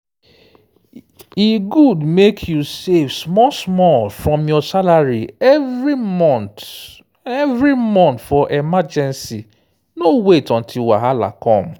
e good mek you save small-small from your salary every month every month for emergency no wait until wahala come.